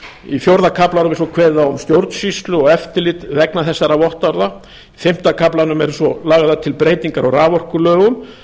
í fjórða kaflanum er síðan kveðið á um stjórnsýslu og eftirlit vegna þessara vottorða í fimmta kaflanum eru svo lagðar til breytingar á raforkulögum